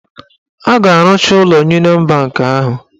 A ga-arụcha ụlọ Uniọn banki ahụ.